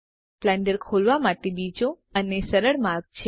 Blender ખોલવા માટે બીજો અને સરળ માર્ગ છે